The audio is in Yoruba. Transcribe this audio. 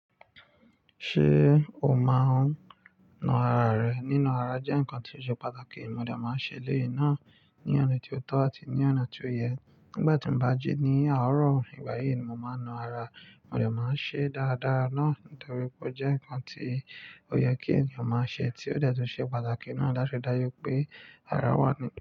Ṣé o máa ń na ara rẹ? Nína ara jẹ́ nǹkan tó ṣe pàtàkì. Mo dà máa ń ṣe léyìí náà ní ọ̀nà tí ó tọ́ àti ní ọ̀nà tí ó yẹ. Nígbà tí mo bá jí ní àárọ̀ ìgbàyí ni mo máa ń na ara. Mo dà máa ń ṣe dáradára náà torí pé ó jẹ́ nǹkan tí ó yẹ kí ènìyàn máa ṣe tí ó dẹ́ tun ṣe pàtàkì náà. Dáṣẹ́ dájú pé ara wà nìkan.